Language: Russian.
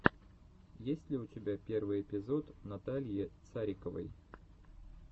есть ли у тебя первый эпизод натальи цариковой